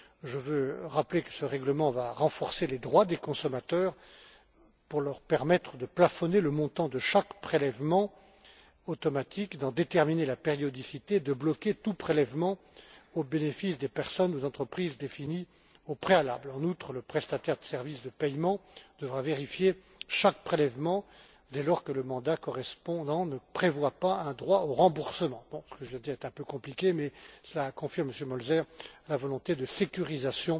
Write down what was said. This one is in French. Je veux rappeler que ce règlement va renforcer les droits des consommateurs pour leur permettre de plafonner le montant de chaque prélèvement automatique, d'en déterminer la périodicité et de bloquer tout prélèvement au bénéfice des personnes ou entreprises définies au préalable. En outre, le prestataire de services de paiement devra vérifier chaque prélèvement dès lors que le mandat correspondant ne prévoit pas un droit au remboursement. Ce que je viens de dire est un peu compliqué mais cela confirme, Monsieur Mölzer, la volonté de sécurisation